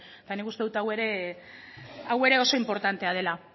eta nik uste dut hau ere oso inportantea dela